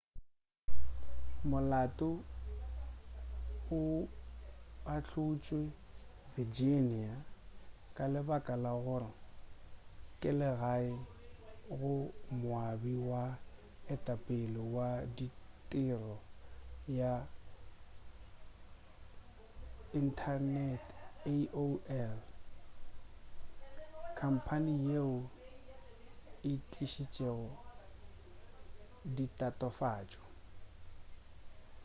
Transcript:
molato o ahlotšwe virginia ka lebaka la gore ke legae go moabi wa go etapele wa tirelo ya inthanete aol khamphane yeo e tlišitšego ditatofatšo